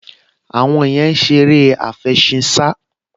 Àwọn yẹn ń ṣe eré àfẹṣinsá